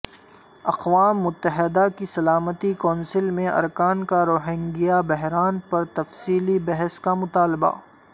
اقوام متحدہ کی سلامتی کونسل میں ارکان کا روہنگیا بحران پر تفصیلی بحث کا مطالبہ